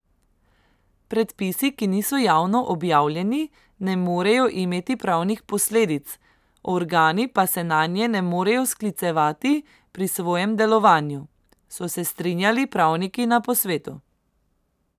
Predpisi, ki niso javno objavljeni ne morejo imeti pravnih posledic, organi pa se nanje ne morejo sklicevati pri svojem delovanju, so se strinjali pravniki na posvetu.